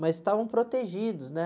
Mas estavam protegidos, né?